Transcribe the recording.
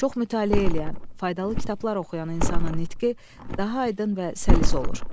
Çox mütaliə edən, faydalı kitablar oxuyan insanın nitqi daha aydın və səlis olur.